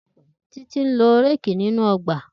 Titi n lo réèkì ninu ọgba.